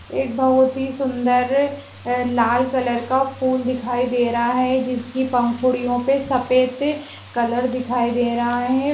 एक बहुत हि सुंदर लाल कलर का फूल दिखाई दे रहा है जिसकी पंखुड़ियों पे सफेद कलर दे रहा है ।